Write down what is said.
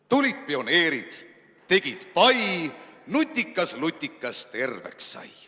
Tulid pioneerid, tegid pai, nutikas lutikas terveks sai.